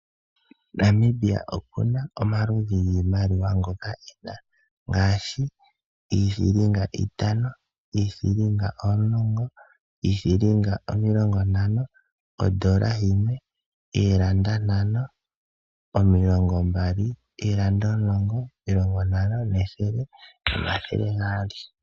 Namibia oku na omaludhi giimaliwa ngoka e na, ngaashi iithilinga itano, iithilinga omulongo, iithilinga omilongo ntano, ondola yimwe, oolanda ntano, omilongo mbali, oolanda omulongo, omulongo ntano, nethele nomathele gaali.